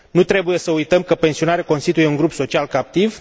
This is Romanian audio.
Nu trebuie să uităm că pensionarii constituie un grup social captiv.